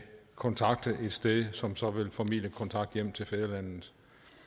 kontakte et sted som så vil formidle kontakt hjem til fædrelandet